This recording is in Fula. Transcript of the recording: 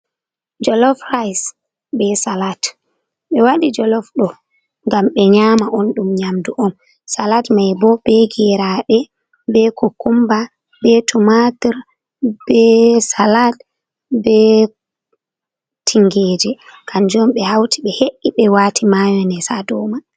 Jolof raise be salat. Be waɗi jolof ɗo, ngam be nyama on. Ɗum nyamɗu on. Salat mai bo be geraɗe, be kukumba, be tumatur, be salat, be tingeje. Kanjum be hauti be he’i be wati mayones ha ɗow mai.